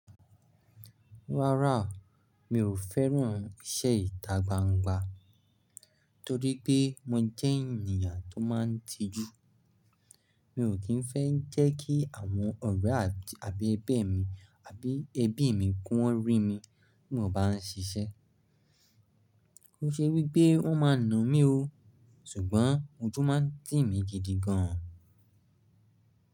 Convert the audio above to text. Rárá, mi ò fẹ́ràn iṣẹ́ ìta gbangba torí pé mo jẹ́ ènìyàn tó máa ń tijú. Mi ò kí ń fẹ́ jẹ́ kí àwọn ọ̀rẹ́ àti abi mi àbí ẹbí mi kó rí mi bí mo bá ń ṣiṣẹ́. Ko n ṣe wípé wón máa na mí ó, ṣùgbọ́n ojú máa ń tì mí gidi gan.